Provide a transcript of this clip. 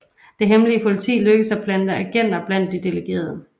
Det hemmelige politi lykkedes at plante agenter blandt de delegerede